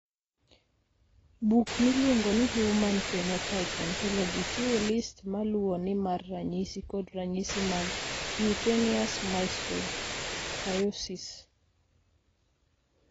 Buk miluongo ni Human Phenotype Ontology chiwo list ma luwoni mar ranyisi kod ranyisi mag Cutaneous mastocytosis.